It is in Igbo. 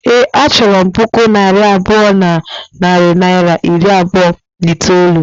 Ee, a chọrọ m puku naira abụọ na narị naịra iri abụọ na itoolu